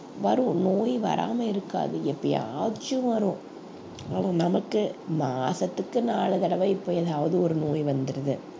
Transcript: வரும் நோய் வராம இருக்காது எப்பயாச்சும் வரும் ஆனா நமக்கு மாசத்துக்கு நாலு தடவை இப்ப ஏதாவது ஒரு நோய் வந்துருது